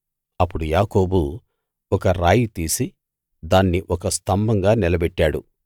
అప్పుడు యాకోబు ఒక రాయి తీసి దాన్ని ఒక స్తంభంగా నిలబెట్టాడు